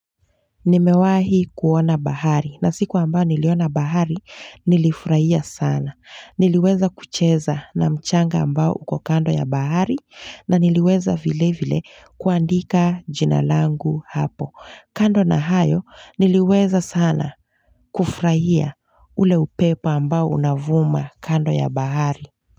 Nimewahi kuona bahari na siku ambao niliona bahari nilifurahia sana. Niliweza kucheza na mchanga ambao uko kando ya bahari na niliweza vile vile kuandika jina langu hapo. Kando na hayo niliweza sana kufurahia ule upepo ambao unavuma kando ya bahari.